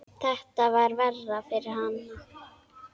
Þetta var verra fyrir hana.